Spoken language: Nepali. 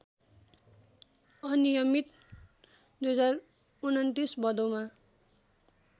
अनियमित २०२९ भदौमा